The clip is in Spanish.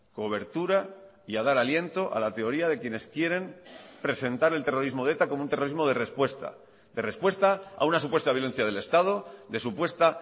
cobertura y a dar aliento a la teoría de quienes quieren presentar el terrorismo de eta como un terrorismo de respuesta de respuesta a una supuesta violencia del estado de supuesta